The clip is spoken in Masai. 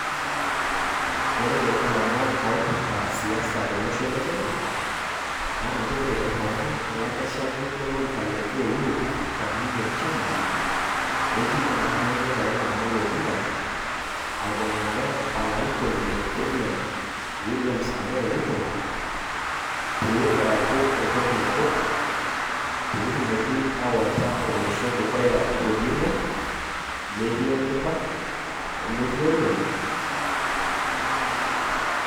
ore ilomon oipirta siasa tolosho le Kenya naa nchere ehomo olakeshani lolo orika le AU le African Union chairmanship oji enkarna enya Raila Amolo Odinga aibungare olarikoni le Kenya William samoe Ruto pee eaku entoki nabo pee etumoki awaita olosho dukuya tolningo, metii enkiba o metii olom.